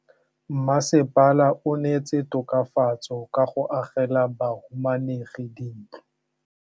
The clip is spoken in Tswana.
Mmasepala o neetse tokafatsô ka go agela bahumanegi dintlo.